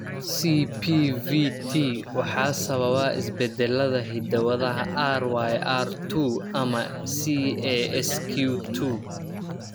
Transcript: CPVT waxaa sababa isbeddellada hidda-wadaha RYR two ama CASQ two.